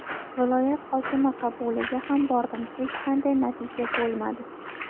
Viloyat hokimi qabuliga ham bordim hech qanday natija bo‘lmadi.